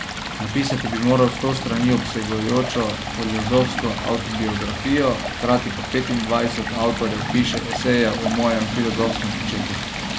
Napisati bi moral sto strani obsegajočo filozofsko avtobiografijo, hkrati pa petindvajset avtorjev piše eseje o mojem filozofskem početju.